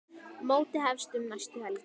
Mótið hefst um næstu helgi.